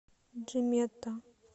джимета